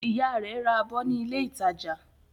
Ìyá rẹ̀ ra abọ́ ní ilé-ìtajà.